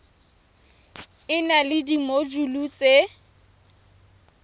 e na le dimojule tse